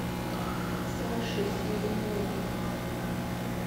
саше смирнову